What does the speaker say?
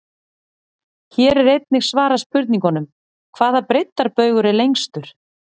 Hér er einnig svarað spurningunum: Hvaða breiddarbaugur er lengstur?